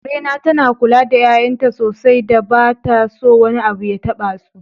Karena tana kula da 'ya'yanta sosai da ba ta so wani abu ya tabasu.